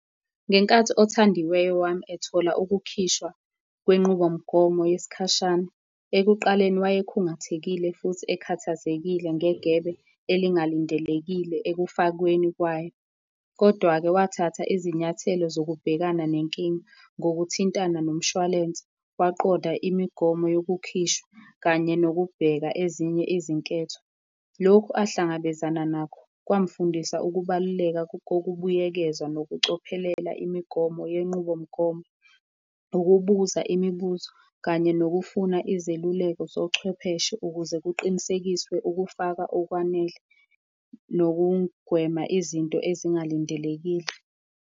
Ngenkathi othandiweyo wami ethola ukukhishwa kwenqubomgomo yesikhashana, ekuqaleni wayekhungathekile futhi ekhathazekile negebe elingalindelekile ekufakweni kwayo. Kodwa-ke wathatha izinyathelo zokubhekana nenkinga ngokuthintana nomshwalense. Waqonda imigomo yokukhishwa kanye nokubheka ezinye izinketho. Lokhu ahlangabezana nakho kwamfundisa ukubaluleka kokubuyekeza nokucophelela imigomo yenqubomgomo, ukubuza imibuzo kanye nokufuna izeluleko zochwepheshe ukuze kuqinisekiswe ukufaka okwanele, nokugwema izinto ezingalindelekile.